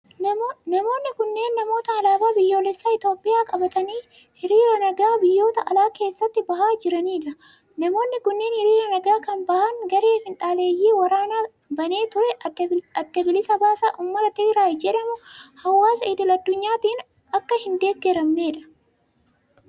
Namoonni kunneen namoota alaabaa biyyaalessaa Itoophiyaa qabatanii hiriira nagaa biyyoota alaa keessatti bahaa jiranii dha. Namoonni kunneen hiriira nagaa kan bahan gareen finxaaleyyii waraana banee ture Adda Bilisa Baasaa Ummata Tigraay jedhamu hawaasa idil-addunyaatin akka hin deeggaramnee dha.